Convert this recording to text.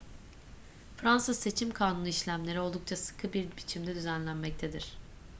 fransız seçim kanunu işlemleri oldukça sıkı bir biçimde düzenlemektedir